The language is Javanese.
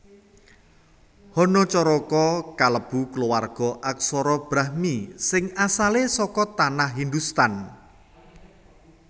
Hanacaraka kalebu kulawarga aksara Brahmi sing asalé saka Tanah Hindhustan